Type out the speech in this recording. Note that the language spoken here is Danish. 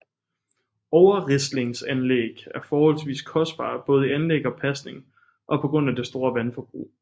Overrislingsanlæg er forholdsvis kostbare både i anlæg og pasning og på grund af det store vandforbrug